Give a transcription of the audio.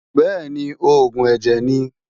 Bẹ́ẹ̀ni, oògùn ẹ̀jẹ̀ ni.